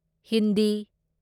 Hindi